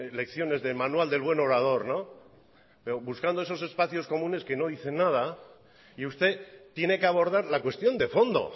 lecciones de manual del buen orador pero buscando esos espacios comunes que no dicen nada y usted tiene que abordar la cuestión de fondo